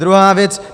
Druhá věc.